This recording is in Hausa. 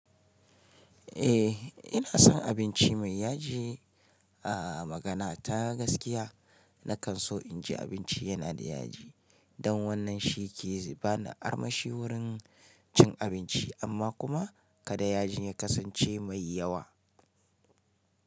Eh ina son abinci mai yaji. A magana ta gaskiya na kan so inji abinci yana da yaji don wannan shi ke bani armashi wurin cin abinci amma kuma kada yajin ya kasance mai yawa.